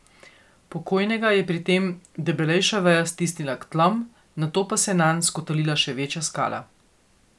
Pokojnega je pri tem debelejša veja stisnila k tlom, nato pa se je nanj skotalila še večja skala.